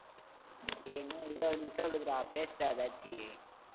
டேய் இன்னும் இருபது நிமிஷம் இருக்குதுடா, பேசுடா எதாச்சு.